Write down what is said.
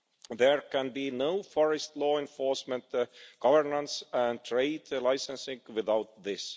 There can be no forest law enforcement, governance and trade licensing without this.